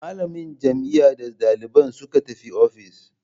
Malamin jami'an da dalibin suka tafi office.